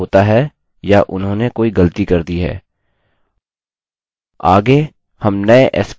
फिर हम दोनों नये पासवर्डस की तुलना करेंगे यह देखने के लिए कि उनका मिलान होता है या उन्होंने कोई गलती कर दी है